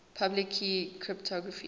public key cryptography